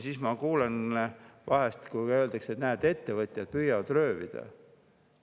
Siis ma kuulen, et vahest öeldakse, et näed, ettevõtjad püüavad röövida.